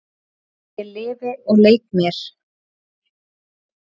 Ég lifi og leik mér.